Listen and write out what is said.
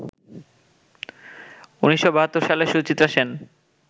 ১৯৭২ সালে সুচিত্রা সেন